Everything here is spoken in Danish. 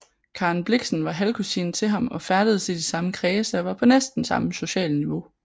Karen Blixen var halvkusine til ham og færdedes i de samme kredse og var på næsten samme sociale niveau